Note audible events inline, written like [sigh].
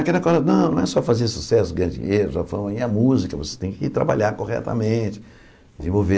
Aquela coisa, não, não é só fazer sucesso, ganhar dinheiro, [unintelligible] é música, você tem que trabalhar corretamente, desenvolver.